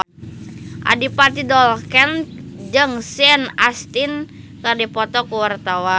Adipati Dolken jeung Sean Astin keur dipoto ku wartawan